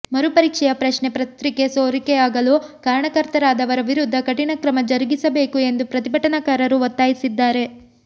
ಮರು ಪರೀಕ್ಷೆಯ ಪ್ರಶ್ನೆ ಪತ್ರಿಕೆ ಸೋರಿಕೆಯಾಗಲು ಕಾರಣಕರ್ತರಾದವರ ವಿರುದ್ಧ ಕಠಿಣ ಕ್ರಮ ಜರಗಿಸಬೇಕು ಎಂದು ಪ್ರತಿಭಟನಾಕಾರರು ಒತ್ತಾಯಿಸಿದ್ದಾರೆ